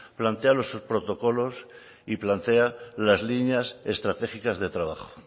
plantea los protocolos y plantea las líneas estratégicas de trabajo